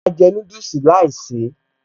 Mo jẹ́ núdùsì láìsèé